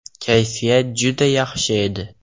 Kayfiyat juda yaxshi edi.